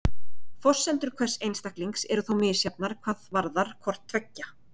Forsendur hvers einstaklings eru þó misjafnar hvað varðar hvort tveggja.